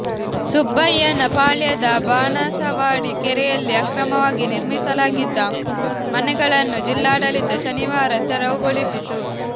ಸುಬ್ಬಯ್ಯನಪಾಳ್ಯದ ಬಾಣಸವಾಡಿ ಕೆರೆಯಲ್ಲಿ ಅಕ್ರಮವಾಗಿ ನಿರ್ಮಿಸಲಾಗಿದ್ದ ಮನೆಗಳನ್ನು ಜಿಲ್ಲಾಡಳಿತ ಶನಿವಾರ ತೆರವುಗೊಳಿಸಿತು